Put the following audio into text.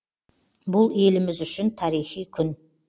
бұл еліміз үшін тарихи күн